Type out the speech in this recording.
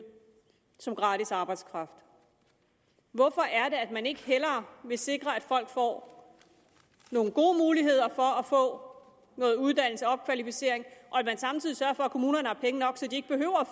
som gratis arbejdskraft hvorfor er det at man ikke hellere vil sikre at folk får nogle gode muligheder for at få noget uddannelse opkvalificering og at man samtidig sørger for at kommunerne har penge nok så de ikke behøver